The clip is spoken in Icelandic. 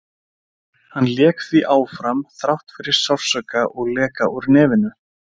Hann lék því áfram þrátt fyrir sársauka og leka úr nefinu.